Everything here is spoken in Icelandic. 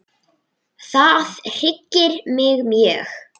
Það hryggir mig mjög.